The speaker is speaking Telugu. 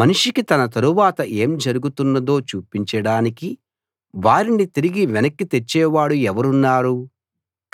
మనిషికి తన తరువాత ఏం జరగబోతున్నదో చూపించడానికి వారిని తిరిగి వెనక్కి తెచ్చేవాడు ఎవరున్నారు